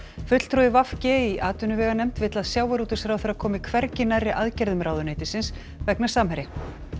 fulltrúi v g í atvinnuveganefnd vill að sjávarútvegsráðherra komi hvergi nærri aðgerðum ráðuneytisins vegna Samherja